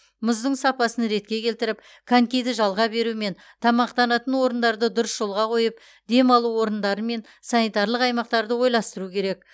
мұздың сапасын ретке келтіріп конькиді жалға беру мен тамақтанатын орындарды дұрыс жолға қойып демалу орындары мен санитарлық аймақтарды ойластыру керек